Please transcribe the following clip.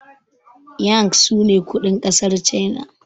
yang sune kudin kasar china